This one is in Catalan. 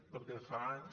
perquè fa anys